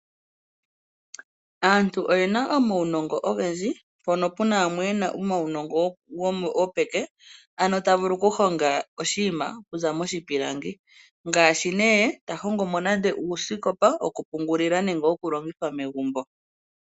Aantu oyena omawunongo ogendji mpono puna yamwe yena omawunongo gopeke ano ta vulu oku honga oshinima okuza moshipilangi ngaashi nee ta hongomo nande uuskopa woku pungulila nenge woku longithwa megumbo.